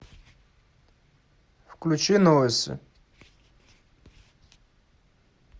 включи новости